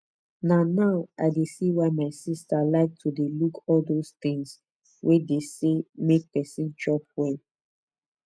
na now i dey see why my sister like to dey look all those things wey dey say make person chop well